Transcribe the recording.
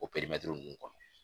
O nunnu kɔnɔ.